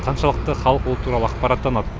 қаншалықты халық ол туралы ақпараттанады